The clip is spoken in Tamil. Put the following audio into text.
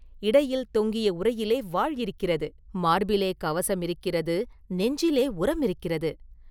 இடையில் தொங்கிய உறையிலே வாள் இருக்கிறது; மார்பிலே கவசம் இருக்கிறது; நெஞ்சிலே உரமிருக்கிறது.